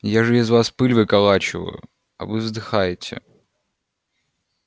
я же из вас пыль выколачиваю а вы вздыхаете